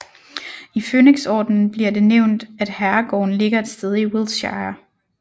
I Fønixordenen bliver det nævnt at herregården ligger et sted i Wiltshire